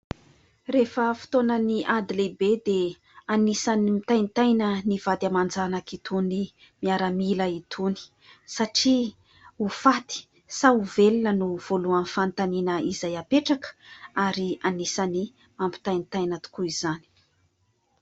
Rehefa fotoanan'ny ady lehibe dia anisan'ny mitaintaina ny vady aman-janak'itony miaramila itony satria ho faty sa ho velona no voalohan'ny fanontaniana izay apetraka ary anisan'ny mampitaintaina tokoa izany.